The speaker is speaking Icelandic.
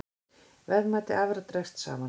Verðmæti afurða dregst saman